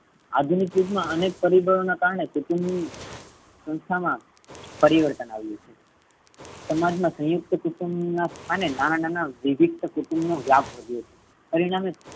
આધુનિક યુગ માં અનેક પરિબળો ને કારણે કુટુંબ સંસ્થા મા પરિવર્તન આવ્યું છે. સમાજ મા સયુંકત કુટુંબ ના નામે નાના નાના વિવિક્ત કુટુંબ નો વ્યાપ વધ્યો છે પરિણામે